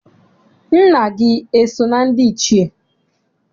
Nna gị eso na ndị Ichie?